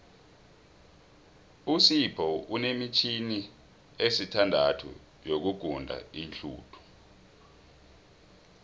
usipho unemitjhini esithandathu yokuguda iinhluthu